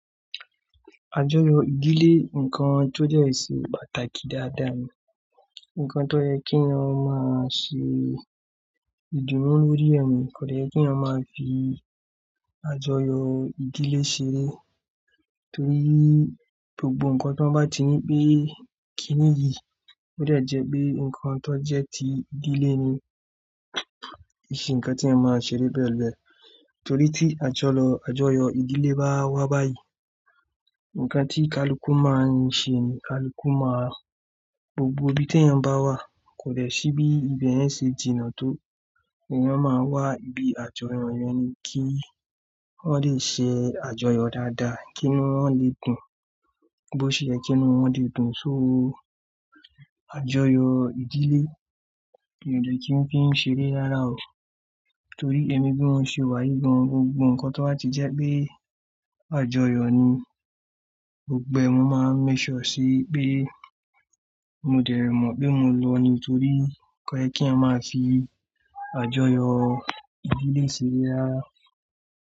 Àjọyọ̀ ìdílé, ǹkan tó jẹ́ ṣe pàtàkì dáadáa ni. Ǹkan tó jẹ́ kí wọn máa ṣe ìdùnnú lórí ẹ̀mí, kò jẹ́ kí wọn máa fi àjọyọ̀ ìdílé ṣeré. Torí gbogbo ǹkan tí wọ́n bá ti ní pé kí nìyí, ó jẹ́ pé ǹkan tó jẹ́ ti ìdílé ni ìṣe ǹkan tí ẹ máa ṣeré bẹ́ẹ̀ lọ. Torí tí àjọyọ̀ ìdílé bá wá báyìí, ǹkan tí kaluku máa ṣe ni kaluku máa-- gbogbo ibi tí èèyàn bá wà, kò dẹ̀ ṣí bí ibẹ̀ yẹn ṣe jìnnà tó. Èèyàn máa wá ibi àjọyọ̀ yẹn ni kí wọ́n lè ṣe àjọyọ̀ dáadáa, kí inú wọn lè dùn. Bí ó ṣe yẹ́ kí inú wọn dùn, ṣó àjọyọ̀ ìdílé kò lè kí n kí n ṣeré lára o. Torí èmi bí mo ṣe wà yìí gan, gbogbo ǹkan tó bá ti jẹ́ pé àjọyọ̀ ni, gbogbo ẹ̀ mo máa ń méék suọ̀ pé mo dẹ̀ mọ̀ pé mo lọ ni. Torí kò yẹ kí a máa fi àjọyọ̀ ìdílé ṣeré rárá.